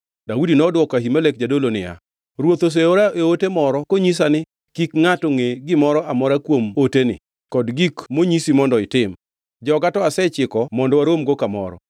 Daudi nodwoko Ahimelek jadolo niya, “Ruoth oseora e ote moro konyisa ni, ‘Kik ngʼato ngʼe gimoro amora kuom oteni kod gik monyisi mondo itim.’ Joga to asechiko mondo waromgo kamoro.